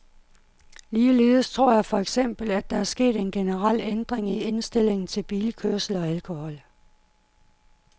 Ligeledes tror jeg for eksempel, at der er sket en generel ændring i indstillingen til bilkørsel og alkohol.